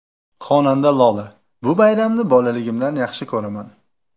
Xonanda Lola: Bu bayramni bolaligimdan yaxshi ko‘raman!.